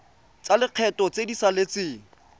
tsa lekgetho tse di saletseng